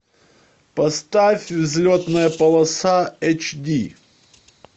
поставь взлетная полоса эйч ди